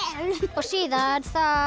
síðan